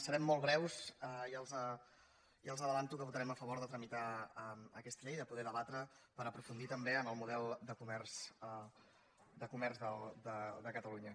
serem molt breus ja els avanço que votarem a favor de tramitar aquesta llei de poder debatre per aprofundir també en el model de comerç de catalunya